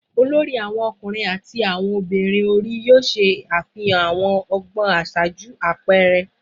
olori awon ọkunrin ati ọmọbirin ori ṣe afihan awọn ọgbọn aṣaaju apẹẹrẹ